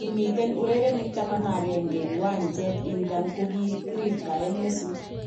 Komiten urerenik taman agenge kiwanjet idadan kokirirtaen Mesut.